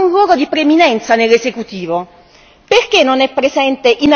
La gioventù non avrà alcun ruolo di preminenza nell'esecutivo.